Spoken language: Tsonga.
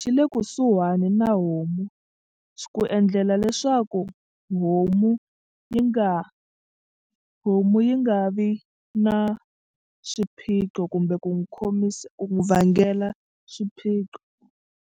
xi le kusuhani na homu ku endlela leswaku homu yi nga homu yi nga vi na xiphiqo kumbe ku n'wi khomisa ku n'wi vangela xiphiqo.